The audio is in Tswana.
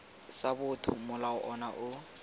sa botho molao ono o